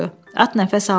At nəfəs almırdı.